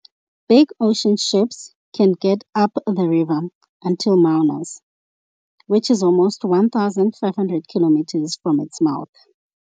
Big ocean ships can get up the river until Manaus, which is almost 1500 kilometers from its mouth.